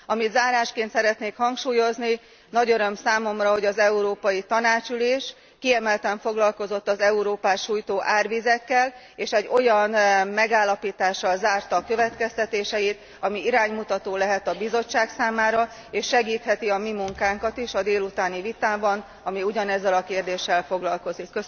Amit zárásként szeretnék hangsúlyozni nagy öröm számomra, hogy az Európai Tanács ülése kiemelten foglalkozott az Európát sújtó árvizekkel, és egy olyan megállapítással zárta a következtetéseit, amely iránymutató lehet a Bizottság számára, és segítheti a mi munkánkat is a délutáni vitában, amely ugyanezzel a kérdéssel foglalkozik.